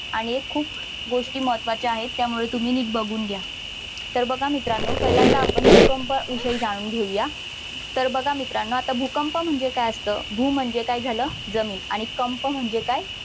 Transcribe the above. आणि हे खूप गोष्टी महत्त्वाच्या आहेत त्यामुळे तुम्ही नीट बघून घ्या सर्व मित्रांना पहिल्यांदा आपण भूकंपाविषयी जाणून घेऊया तर बघा मित्रांनो भूकंप म्हणजे भू म्हणजे काय झालं जमीन आणि कंप म्हणजे काय